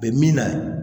Bɛ min na